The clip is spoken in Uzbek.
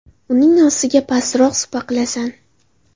Uning ostiga pastroq supa qilasan.